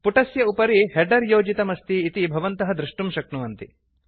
पुटस्य उपरि हेडर् योजितमस्ति इति भवन्तः दृष्टुं शक्नुवन्ति